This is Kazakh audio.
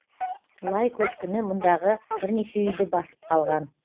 лай көшкіні мұндағы бірнеше үйді басып қалған